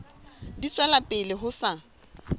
di tswela pele ho sa